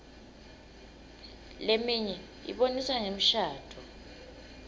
leminye ibonisa ngemishadvo